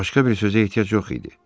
Başqa bir sözə ehtiyac yox idi.